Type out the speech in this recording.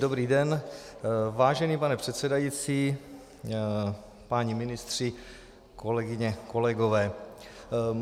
Dobrý den, vážený pane předsedající, páni ministři, kolegyně, kolegové.